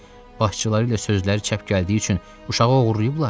Başçıları ilə sözləri çəp gəldiyi üçün uşağı oğurlayıblar?